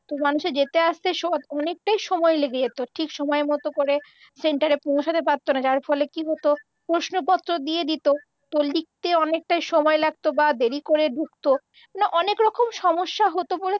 তো মানুষের যেতে আসতে অনেকটাই সময় লেগে যেত। ঠিক সময় মত করে সেন্টারে পৌঁছতে পারতো না যার ফলে কি হত প্রশ্নপত্র দিয়ে দিত তো লিখতে অনেকটাই সময় লাগত বা দেরি করে ঢুকত। তো অনেকরকম সমস্যা হত বলে